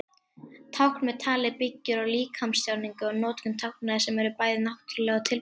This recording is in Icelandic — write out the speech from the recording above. Tákn með tali byggir á líkamstjáningu og notkun tákna sem eru bæði náttúruleg og tilbúin.